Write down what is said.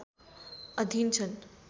अधिन छन्